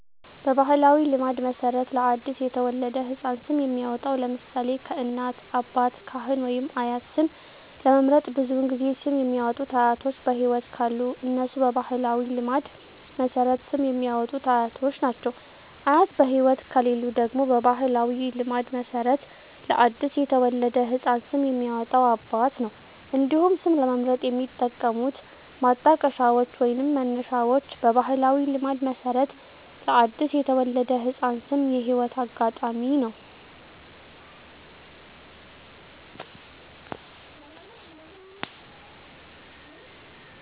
በባሕላዊ ልማድ መሠረት ለ አዲስ የተወለደ ሕፃን ስም የሚያወጣዉ (ለምሳሌ: ከእናት፣ አባት፣ ካህን ወይም አያት) ስም ለመምረጥ ብዙውን ጊዜ ስም የሚያወጡት አያቶች በህይወት ካሉ እነሱ በባህላዊ ልማድ መሠረት ስም የሚያወጡት አያቶች ናቸው። አያት በህይወት ከሌሉ ደግሞ በባህላዊ ልማድ መሠረት ለአዲስ የተወለደ ህፃን ስም የሚያወጣው አባት ነው። እንዲሁም ስም ለመምረጥ የሚጠቀሙት ማጣቀሻዎች ወይንም መነሻዎች በባህላዊ ልማድ መሠረት ለአዲስ የተወለደ ህፃን ስም የህይወት አጋጣሚ ነው።